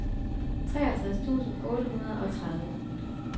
treogtres tusind otte hundrede og tredive